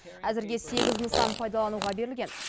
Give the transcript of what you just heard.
әзірге сегіз нысан пайдалануға берілген